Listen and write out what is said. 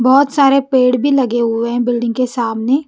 बहुत सारे पेड़ भी लगे हुए हैं बिल्डिंग के सामने।